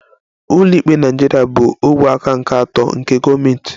Ụlọikpe Naịjirịa bụ ogwe aka nke atọ nke gọọmentị